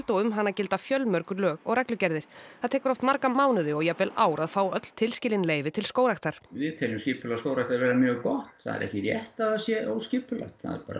og um hana gilda fjölmörg lög og reglugerðir það tekur oft marga mánuði og jafnvel ár að fá öll tilskilin leyfi til skógræktar við teljum skipulag skógræktar vera mjög gott það er ekki rétt að það sé óskipulagt